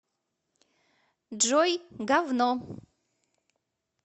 джой гавно